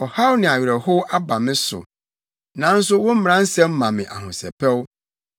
Ɔhaw ne awerɛhow aba me so, nanso wo mmara nsɛm ma me ahosɛpɛw.